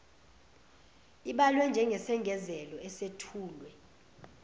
ibalwe njengesengezelo esethulwe